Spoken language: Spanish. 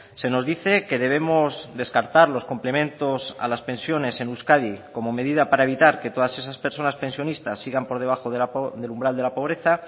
se nos dice que debemos descartar los complementos a las pensiones en euskadi como medida para evitar que todas esas personas pensionistas sigan por debajo del umbral de la pobreza